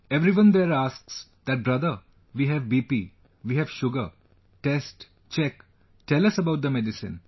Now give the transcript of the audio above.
Everyone there asks that brother, we have BP, we have sugar, test, check, tell us about the medicine